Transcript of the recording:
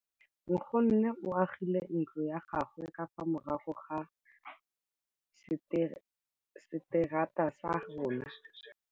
Nkgonne o agile ntlo ya gagwe ka fa morago ga seterata sa rona.